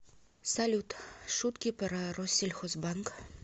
салют шутки про россельхозбанк